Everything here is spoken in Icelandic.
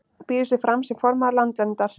Býður sig fram sem formaður Landverndar